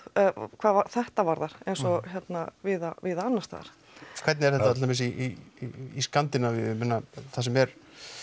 hvað þetta varðar eins og víða og víða annars staðar hvernig er þetta til dæmis í Skandinavíu ég meina þar sem er